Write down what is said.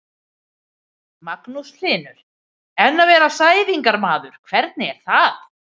Magnús Hlynur: En að vera sæðingarmaður, hvernig er það?